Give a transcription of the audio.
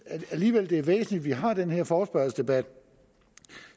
alligevel det er væsentligt vi har den her forespørgselsdebat og